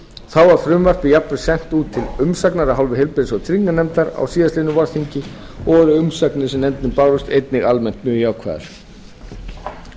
þá var frumvarpið sent út til umsagnar af hálfu heilbrigðis og trygginganefndar á síðastliðnu vorþingi og voru umsagnir sem nefndinni bárust einnig almennt mjög jákvæðar þrátt fyrir